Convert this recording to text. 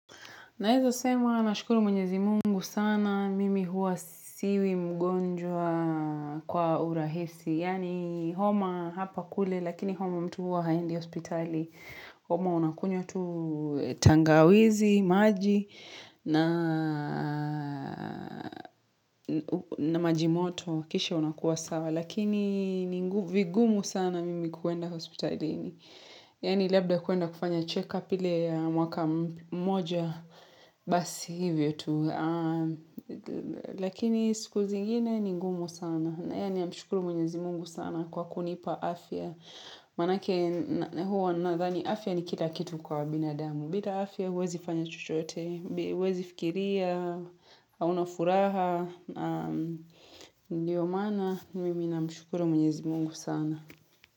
Naeza sema, nashukuru mwenyezi mungu sana, mimi hua siwi mgonjwa kwa urahisi. Yaani, homa hapa kule, lakini homa mtu huwa haendi hospitali. Homa unakunywa tu tangawizi, maji na majimoto, kisha unakua sawa. Lakini, vigumu sana mimi kuenda hospitalini. Yaani labda kuenda kufanya check-up ile ya mwaka mmoja basi hivyo tu. Lakini siku zingine ni ngumu sana. Haya namshukuru mwenyezi mungu sana kwa kunipa afya. Maanake huwa nadhani afya ni kila kitu kwa binadamu. Bila afya huwezi fanya chochote, huwezi fikiria, hauna furaha, ndiyo maana. Mimi namshukuru mwenyezi mungu sana.